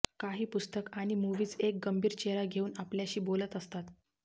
काही पुस्तक आणि मुव्हीज एक गंभीर चेहरा घेऊन आपल्याशी बोलत असतात